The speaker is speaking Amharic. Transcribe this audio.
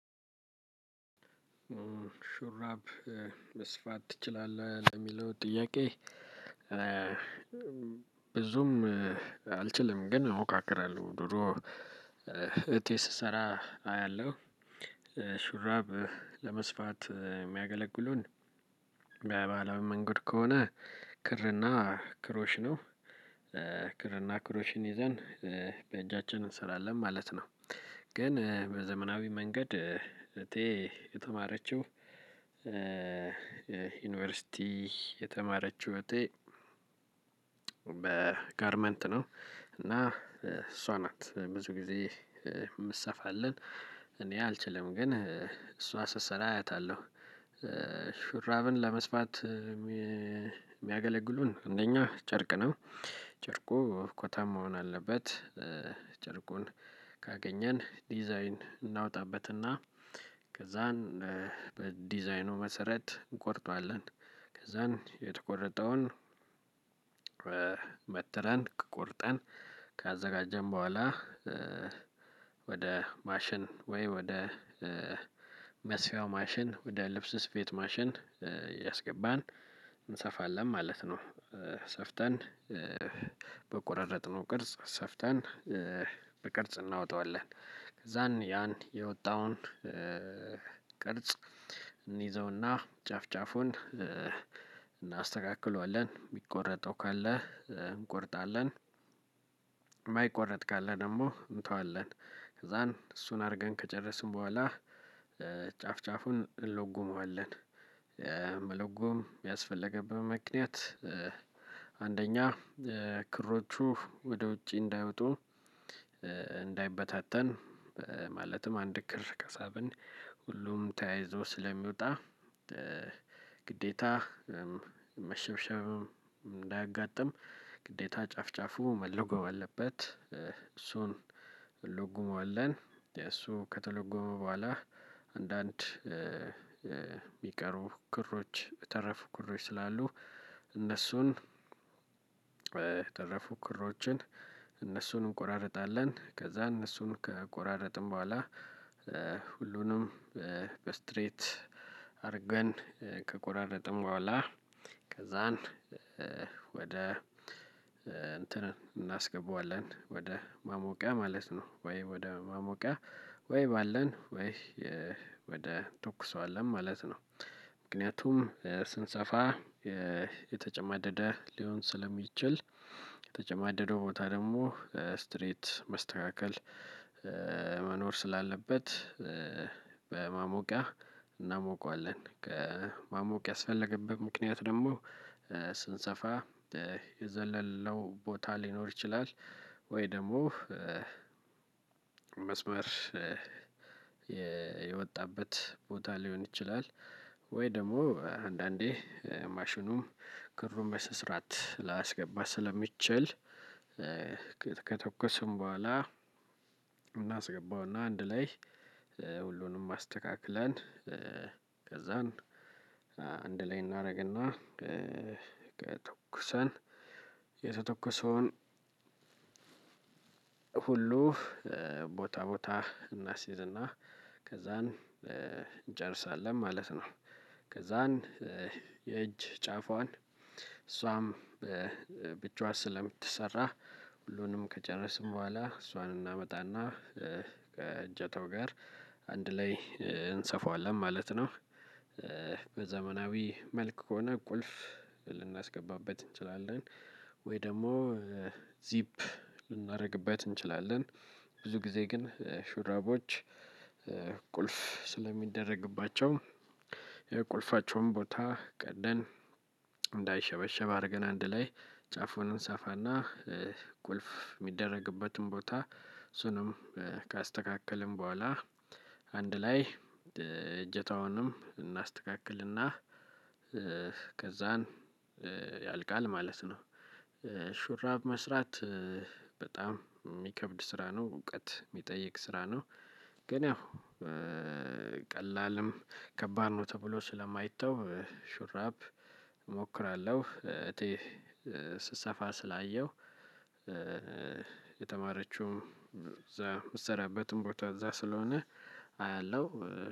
ሹራብ መስፋት ትችላለህ ለሚለው ጥያቄ? ብዙም አልችልም ግን እሞካክራለሁ። ድሮ እቴ ስሰራ አያለሁ። ሹራብ ለመስፋት የሚያገለግሉን በባህላዊ መንገድ ከሆነ ክርና ክሮሽ ነው። ክርና ክሮሽን ይዘን በእጃችን እንሰራለን ማለት ነው። ግን በዘመናዊ መንገድ እቴ የተማረችው ዩኒቨርሲቲ የተማረችው እቴ በጋርመንት ነው። እና እሷ ናት ብዙ ጊዜ እምትሰፋለን እኔ አልችልም ግን እሷ ስሰራ አያታለሁ። ሹራብን ለመስፋት የሚያገለግሉን እንደኛ ጨርቅ ነው። ጨርቁ ኮተን መሆን አለበት። ጨርቁን ካገኘን ዲዛይን እናውጣበትና ከዛን በዲዛይኑ መሰረት እንቆርጧለን። ከዛን የተቆረጠውን መትረን ቆርጠን ካዘጋጀን በኋላ። ወደ ማሽን ወይ ወደ መስፊያው ማሽን ወደ ልብስ ስፌት ማሽን እያስገባን እንሰፋለን ማለት ነው። ሰፍተን በቆራረጥነው ቅርጽ ሰፍተን በቅርጽ እናወጣዋለን። ከዛን ያን የወጣውን ቅርጽ እንይዘውና ጫፍ ጫፉን እናስተካክለዋለን የሚቆረጠው ካለ እንቆርጣለን። የማይቆረጥ ካለ ደግሞ እንተዋለን ከዛን እሱን አድርገን ከጨረስን በኋላ ጫፍ ጫፉን እለጉመዋለን። መለጎም ያስፈለገብን ምክንያት አንደኛ ክሮቹ ወደ ውጪ እንዳይወጡ እንዳይበታተን። ማለትም አንድ ክር ከሳብን ሁሉም ተያይዞ ስለሚወጣ። ግዴታ መሸብሸብም እንዳያጋጥም ግዴታ ጫፍ ጫፉ መለጎም አለበት እሱን እንሎግመዋለን። እሱ ከተለጎመ በኋላ አንዳንድ የሚቀሩ ክሮች የተረፉ ክሮች ስላሉ እነሱን የተረፉ ክሮችን እነሱን እንቆራርጣለን። ከዛ እነሱን ከቆራረጥን በኋላ ሁሉንም በስትሬት አድርገን ከቆራረጥን በኋላ ከዛን ወደ እንትን እናስገባዋለን ወደ ማሞቂያ ማለት ነው። ወይ ወደ ማሞቂያ ወይ ባለን ወይ ወደ እንተኩሷለን ማለት ነው። ምክንያቱም ስንሰፋ የተጨማደደ ሊሆን ስለሚችል የተጨማደደው ቦታ ደግሞ ስትሬት መስተካከል መኖር ስላለበት በማሞቂያ እናሞቋለን። ከማሞቂያ ያስፈለገበት ምክንያት ደግሞ ስንሰፋ የዘለለነው ቦታ ሊኖር ይችላል። ወይ ደግሞ መስመር የወጣበት ቦታ ሊሆን ይችላል። ወይ ደግሞ አንዳንዴ ማሽኑም ክሩን በስነስራት ላያስገባ ስለሚችል። ከተኮስን በኋላ እናስገባውና አንድ ላይ ሁሉንም አስተካክለን ከዛን አንድ ላይ እናደርግና ተኩሰን የተተኩሰውን ሁሉ ቦታ ቦታ እናስይዝና ከዛን እንጨርሳለን ማለት ነው። ከዛን የእጅ ጫፏን እሷም በብቻዋ ስለምትሰራ ሁሉንም ከጨረስን በኋላ እሷን እናመጣና ከእጀታው ጋር አንድ ላይ እንሰፋዋለን ማለት ነው። በዘመናዊ መልክ ከሆነ ቁልፍ ልናስገባበት እንችላለን። ወይ ደግሞ ዚፕ ልናደርግበት እንችላለን። ብዙ ጊዜ ግን ሹራቦች ቁልፍ ስለሚደረግባቸው የቁልፋቸውን ቦታ ቀደን እንዳይሸበሸብ አድርገን አንድ ላይ ጫፉን እንሰፋና ቁልፍ የሚደረግበትን ቦታ እሱንም ካስተካከልን በኋላ አንድ ላይ እጀታውንም እናስተካክልና ከዛን ያልቃል ማለት ነው። ሹራብ መስራት በጣም የሚከብድ ስራ ነው እውቀት የሚጠይቅ ስራ ነው። ግን ያው ቀላልም ከባድ ነው ተብሎ ስለማይተው ሹራብ እሞክራለሁ እቴ ስትሰፋ ስላየሁ። የተማረችው እዛ ምትሰራበትም ቦታ እዛ ስለሆነ አያለሁ